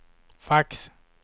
fax